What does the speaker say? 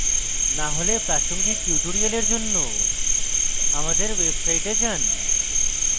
না হলে প্রাসঙ্গিক linux tutorials জন্য আমাদের website যান